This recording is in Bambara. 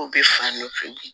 U bɛ fan nɔfɛ bi